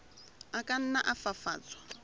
a ka nna a fafatswa